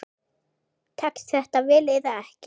Tekst þetta vel eða ekki?